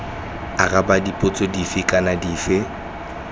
araba dipotso dife kana dife